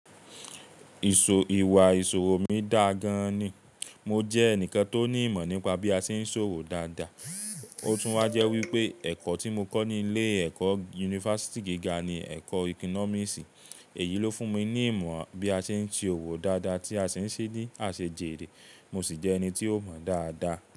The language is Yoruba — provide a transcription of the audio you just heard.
Ìṣò, ìwà ìṣòwò mi dáa gan-an ni. Mo jẹ́ ẹnìkan tó ní ìmọ̀ nípa bí a ṣe ń ṣòwò dáadáa. Ó tún wá jẹ́ wípé ẹ̀kọ́ tí mo kọ́ ní ilé ẹ̀kọ́ yunifásítì gíga ni ẹ̀kọ́ economics, èyí ló fún mi ní ìmọ̀ bí a ṣe ń ṣe òwò dáadáa tí a ṣi ń ṣe ní àsèjèèrè. Mo sì jẹ́ ẹni tí ó mọ̀ dáadáa.